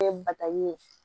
Kɛ bataɲɛ